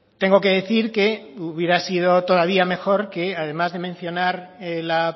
tengo que decir que hubiera sido todavía mejor que además de mencionar la